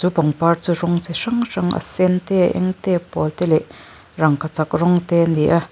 he pangpar chu rawng chi hrang hrang a sen te a eng te a pawl te leh rangkachak rawng te ani a.